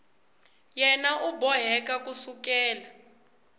yena u boheka ku sukela